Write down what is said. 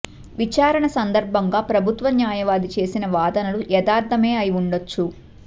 విచారణ సందర్భంగా ప్రభుత్వ న్యాయవాది చేసిన వాదనలు యదార్థమే అయి ఉండొచ్చు